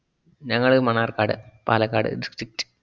ഞങ്ങള് മണ്ണാര്‍ക്കാട് പാലക്കാട് district.